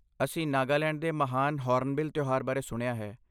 ਅਸੀਂ ਨਾਗਾਲੈਂਡ ਦੇ ਮਹਾਨ ਹੌਰਨਬਿਲ ਤਿਉਹਾਰ ਬਾਰੇ ਸੁਣਿਆ ਹੈ।